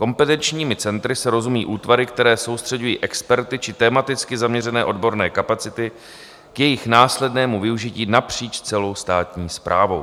Kompetenčními centry se rozumí útvary, které soustřeďují experty či tematicky zaměřené odborné kapacity k jejich následnému využití napříč celou státní správou.